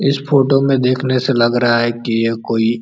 इस फोटो में देखने से लग रहा है कि यह कोई --